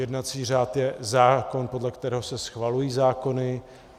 Jednací řád je zákon, podle kterého se schvalují zákony.